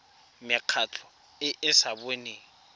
mekgatlho e e sa boneng